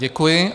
Děkuji.